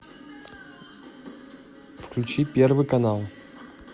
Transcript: включи первый канал